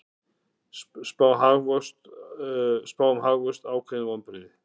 Spá um hagvöxt ákveðin vonbrigði